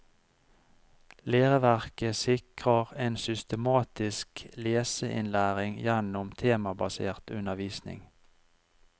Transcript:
Læreverket sikrer en systematisk leseinnlæring gjennom temabasert undervisning.